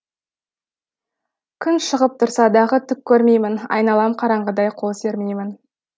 күн шығып тұрса дағы түк көрмеймін айналам қараңғыдай қол сермеймін